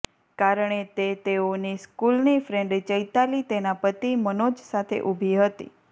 કારણે તે તેઓની સ્કૂલની ફ્રેન્ડ ચૈતાલી તેના પતિ મનોજ સાથે ઊભી હતી